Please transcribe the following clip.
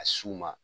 A s'u ma